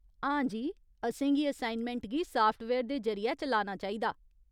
हां जी, असेंगी असाइनमैंट गी साफ्टवेयर दे जरि'यै चलाना चाहिदा।